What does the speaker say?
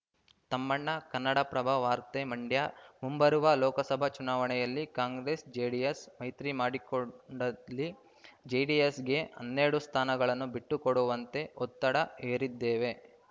ತಮ್ಮಣ್ಣ ಕನ್ನಡಪ್ರಭ ವಾರ್ತೆ ಮಂಡ್ಯ ಮುಂಬರುವ ಲೋಕಸಭಾ ಚುನಾವಣೆಯಲ್ಲಿ ಕಾಂಗ್ರೆಸ್‌ ಜೆಡಿಎಸ್‌ ಮೈತ್ರಿಮಾಡಿಕೊಂಡಲ್ಲಿ ಜೆಡಿಎಸ್‌ಗೆ ಹನ್ನೆರಡು ಸ್ಥಾನಗಳನ್ನು ಬಿಟ್ಟು ಕೊಡುವಂತೆ ಒತ್ತಡ ಹೇರಿದ್ದೇವೆ